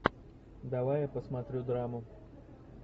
давай я посмотрю драму